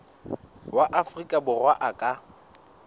wa afrika borwa a ka